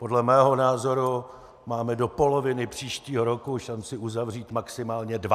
Podle mého názoru máme do poloviny příštího roku šanci uzavřít maximálně dva.